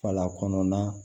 Fala kɔnɔna